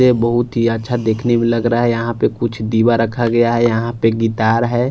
है बोहोत ही अच्छा दिखने में लग रहा है यहाँ पर कुछ दिवा रखा गया है यहाँ पर गिटार है।